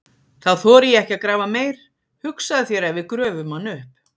Þá þori ég ekki að grafa meir, hugsaðu þér ef við gröfum hann upp!